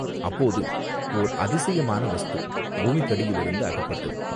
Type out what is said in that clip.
அப்போது ஓர் அதிசயமான வஸ்து பூமிக்கடியிலிருந்து அகப்பட்டது.